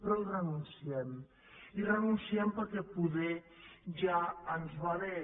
però hi renunciem hi renunciem perquè poder ja ens va bé